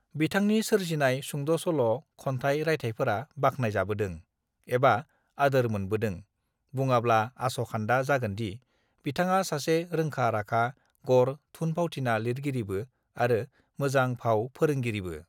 बिथांनि सोरजिनाय सुंद सल खन्थाय रायथायफोरा बाख्नायजाबोदों एबा आदोर मोनबोदों बुङाब्ला आस खान्दा जागोनदि बिथाङा सासे रोंखा राखा गर थुन फावथिना लिरगिरिबो आरो मोजां भाव फोरोंगिरिबो